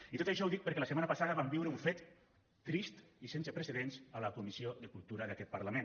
i tot això ho dic perquè la setmana passada vam viure un fet trist i sense precedents a la comissió de cultura d’aquest parlament